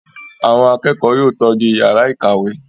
Àwọn akẹ́kọ̀ọ́ yóò tọ́jú ìyàrá-ìkàwé!